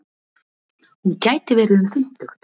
Hún gæti verið um fimmtugt.